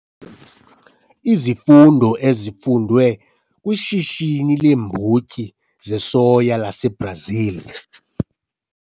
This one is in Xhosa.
Izifundo ezifundwe kwishishini leembotyi zesoya laseBrazil